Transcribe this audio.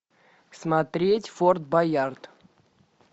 смотреть форд боярд